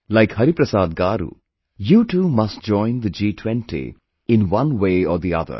Like Hariprasad Garu, you too must join the G20 in one way or the other